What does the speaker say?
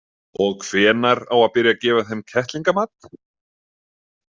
Og hvenær á að byrja að gefa þeim kettlingamat?